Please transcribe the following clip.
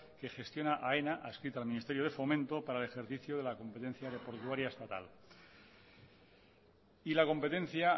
que gestiona aena adscrita al miniesterio fomento para el ejercicio de la competencia aeroportuaria estatal y la competencia